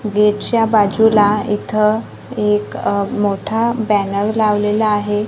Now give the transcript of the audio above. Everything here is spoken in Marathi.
गेटच्या बाजूला इथं एक अह मोठा बॅनर लावलेला आहे.